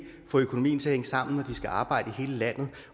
få økonomien til at hænge sammen når skal arbejde i hele landet